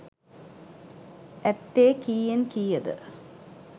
ඇත්තේ කීයෙන් කීයද?